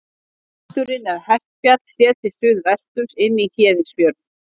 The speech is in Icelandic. Hesturinn eða Hestfjall, séð til suðvesturs inn í Héðinsfjörð.